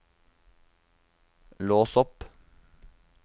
lås opp